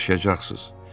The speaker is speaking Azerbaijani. Siz yaşayacaqsınız.